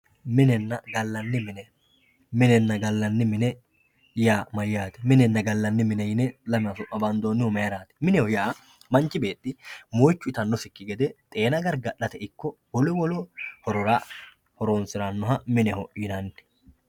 minenna gallanni mine yaa mayyaate? minenna gallanni mine yine lamewa bandoonnihu mayiiraati? mineho yaa manchi beetti moyiichu itannosikki gede xeena gargadhate ikko wolu wolu horora horonsirannoha mineho yinanni.